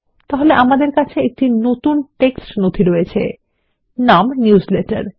তাহলে আমাদের কাছে একটি নতুন টেক্সট নথি আছে নাম নিউজলেটার